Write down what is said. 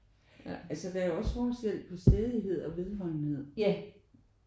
Altså der er jo også forskel på stædighed og vedholdenhed